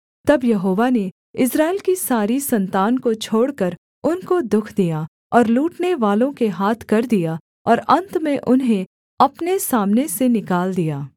तब यहोवा ने इस्राएल की सारी सन्तान को छोड़कर उनको दुःख दिया और लूटनेवालों के हाथ कर दिया और अन्त में उन्हें अपने सामने से निकाल दिया